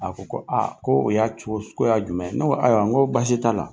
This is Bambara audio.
A ko ko ko o y'a cogo su , ko y'a jumɛn ye? ne ayiwa, n ko basi t'a la.